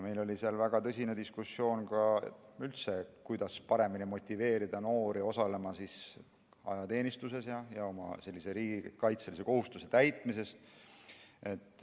Meil oli väga tõsine diskussioon, kuidas üldse paremini motiveerida noori osalema ajateenistuses ja oma riigikaitselise kohustuse täitmises.